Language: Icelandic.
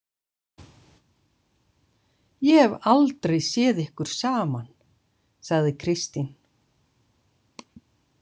Ég hef aldrei séð ykkur saman, sagði Kristín.